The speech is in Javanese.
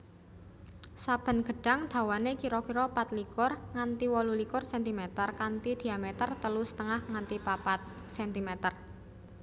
Saben gedhang dawane kira kira pat likur nganti wolu likur centimeter kanthi dhiameter telu setengah nganti papat centimeter